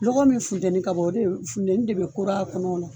Lɔgɔ min funteni ka bɔn o de bɛ funteni de bɛ kooro a kɔnɔ.